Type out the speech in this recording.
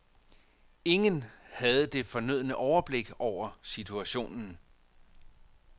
Ingen havde det fornødne overblik over situationen.